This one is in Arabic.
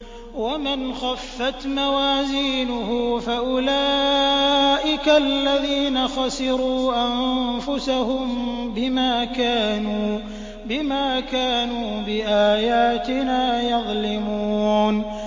وَمَنْ خَفَّتْ مَوَازِينُهُ فَأُولَٰئِكَ الَّذِينَ خَسِرُوا أَنفُسَهُم بِمَا كَانُوا بِآيَاتِنَا يَظْلِمُونَ